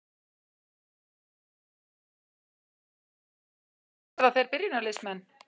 Verða þeir byrjunarliðsmenn?